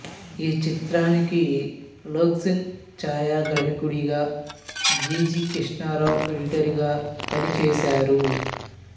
ఈ చిత్రానికి లోక్ సింగ్ ఛాయాగ్రాహకుడిగా జి జి కృష్ణారావు ఎడిటరుగా పనిచేశారు